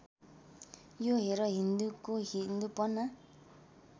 यो हेर हिन्दूको हिन्दूपना